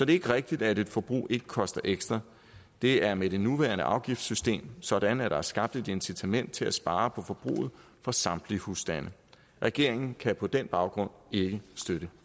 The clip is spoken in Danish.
ikke rigtigt at et forbrug ikke koster ekstra det er med det nuværende afgiftssystem sådan at der er skabt et incitament til at spare på forbruget for samtlige husstande regeringen kan på den baggrund ikke støtte